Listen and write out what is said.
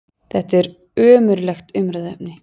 Þetta er ömurlegt umræðuefni!